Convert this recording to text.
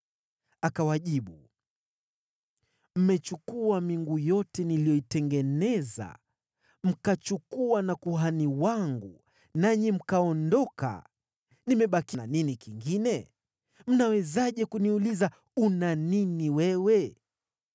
Akawajibu, “Mmechukua miungu yote niliyoitengeneza, mkachukua na kuhani wangu, nanyi mkaondoka. Nimebaki na nini kingine? Mnawezaje kuniuliza, ‘Una nini wewe?’ ”